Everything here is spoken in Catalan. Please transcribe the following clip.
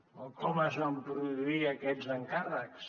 o com es van produir aquests encàrrecs